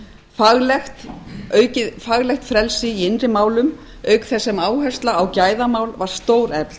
faglegt frelsi í innri málum auk þess sem áhersla á gæðamál var stórefld